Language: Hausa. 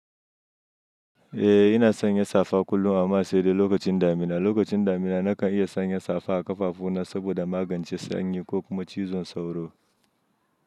Eh ina sanya safa kullum amma sai dai lokacin damina. Lokacin damina na kan iya sanya safa a ƙafafu na saboda magance sanyi ko kuma cizon sauro.